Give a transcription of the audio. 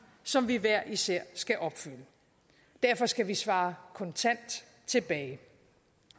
som vi hver især skal opfylde derfor skal vi svare kontant tilbage